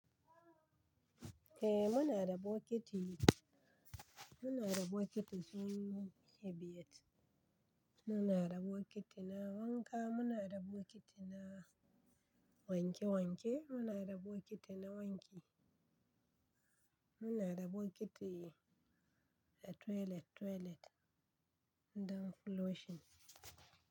Eh muna da bokiti, muna da bokiti sunan hebeit, muna da bokiti na wanka, muna da bokiti na wanke wanke, muna da bokiti na wanki, muna da bokiti na toilet toilet don flushing.